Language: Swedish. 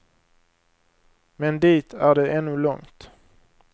Men dit är det ännu långt.